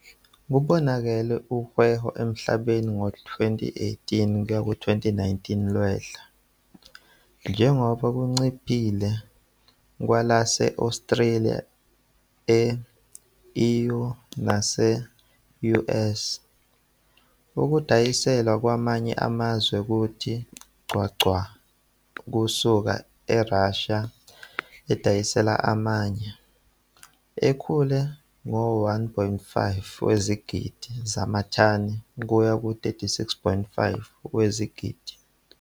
Kubonakala uwhebo emhlabeni ngo-2018 - 2019 lwehla, njengoba lunciphile kwelase-Australia, e-EU nase-U. S. okudayiselwa kwamanye amazwe kuthe gqwa gqwa ukusuka eRussia edayisela amanye, ekhule ngo-1,5 wezigidi zamathani kuye ku-36,5 wezigidi.